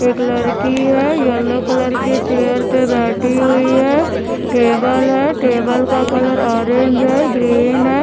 एक लड़की है येलो कलर के चेयर पे बैठी हुई है टेबल है टेबल का कलर ऑरेंज है ग्रीन है।